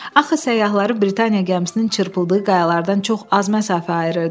Axı səyyahları Britaniya gəmisinin çırpıldığı qayalardan çox az məsafə ayırırdı.